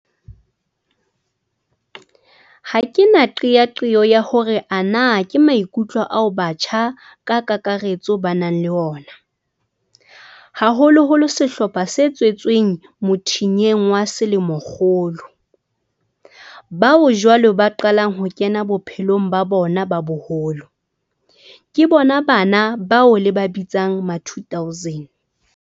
Ha ke na qeaqeo ya hore ana ke maikutlo ao batjha ka kakaretso ba nang le ona, haholoholo sehlopha se tswetsweng mothinyeng wa selemokgolo, bao jwale ba qalang ho kena bophelong ba bona ba boholo, ke bona bana bao le ba bitsang ma2000.